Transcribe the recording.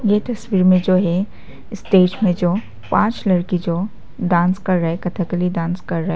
ये तस्वीर में जो है स्टेज में जो पांच लड़की जो डांस कर रहे कथकली डांस कर रहे--